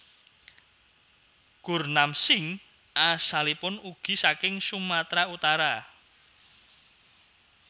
Gurnam Singh asalipun ugi saking Sumatera Utara